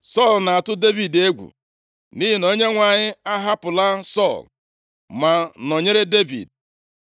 Sọl na-atụ Devid egwu, nʼihi na Onyenwe anyị ahapụla Sọl, ma nọnyere Devid.